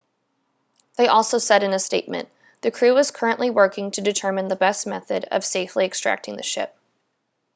they also said in a statement the crew is currently working to determine the best method of safely extracting the ship